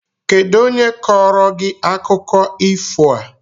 Kedụ onye kọọrọ gị akụkọ ifo a?